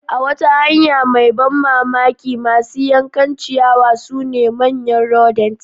A wata hanya mai ban mamaki, masu yankan ciyawa sune manyan rodents.